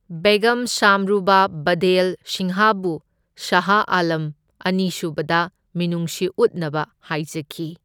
ꯕꯦꯒꯝ ꯁꯥꯝꯔꯨꯅ ꯕꯥꯘꯦꯜ ꯁꯤꯡꯍꯕꯨ ꯁꯥꯍ ꯑꯥꯂꯝ ꯑꯅꯤꯁꯨꯕꯗ ꯃꯤꯅꯨꯡꯁꯤ ꯎꯠꯅꯕ ꯍꯥꯏꯖꯈꯤ꯫